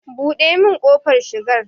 Buɗe min kofar shigar.